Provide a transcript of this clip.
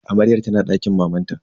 Amaryar tana dakin mamanta.